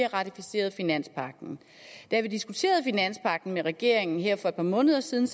ratificeret finanspagten da vi diskuterede finanspagten med regeringen her for et par måneder siden